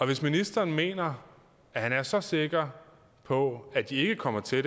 hvis ministeren mener at han er så sikker på at de ikke kommer til at